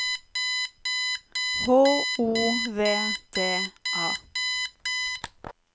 H O V D A